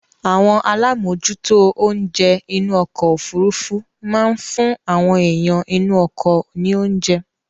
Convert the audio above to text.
Àwọn alámòjútó oúnjẹ inú ọkọ-òfurufú máa ń fún àwọn èèyàn inú ọkọ ní oúnjẹ.